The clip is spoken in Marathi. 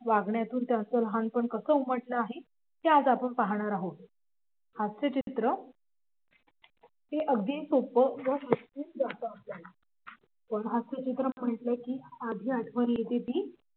वागण्यातून त्यांचं लहानपण कसं उमटलं आहे ते आज आपण पाहणार आहोत हास्यचित्र हे अगदी सोपं पण हास्यचित्र म्हटलं की आधी आठवण येते ती